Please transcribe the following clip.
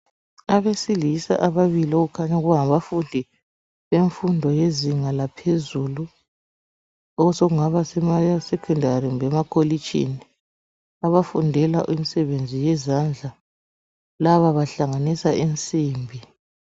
Abesilisa ababili, okukhanya kungabafundi bemfundo yezinga laphezulu, osokungaba sema sekhendari kumbe emakolitshini abafundela imisebenzi yezandla. Laba bahlanganisa insimbi.